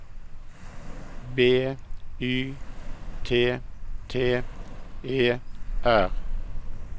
B Y T T E R